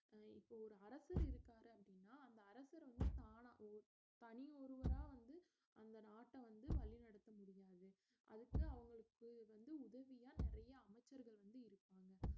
அஹ் இப்போ ஒரு அரசர் இருக்காரு அப்படின்னா அந்த அரசர் வந்து தானா ஓ~ தனி ஒருவரா வந்து அந்த நாட்ட வந்து வழி நடத்த முடியாது அதுக்கு அவங்களுக்கு வந்து உதவியா நிறைய அமைச்சர்கள் வந்து இருப்பாங்க